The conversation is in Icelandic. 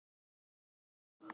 Folda, spilaðu lag.